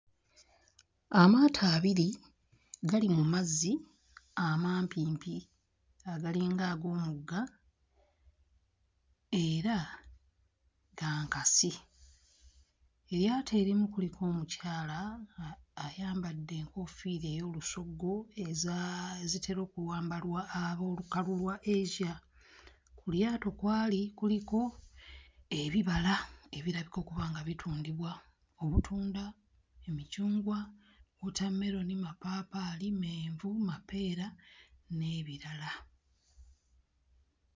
Amaato abiri gali mu mazzi amampimpi agalinga ag'omugga era ga nkasi. Eryato erimu kuliko omukyala ayambadde enkoofiira ey'olusoggo eza ezitera okwambalwa ab'olukalu lwa Asia. Ku lyato kw'ali kuliko ebibala ebirabika okuba nga bitundibwa; obutunda, emicungwa, wootammeroni, mapaapaali, menvu mapeera n'ebirala.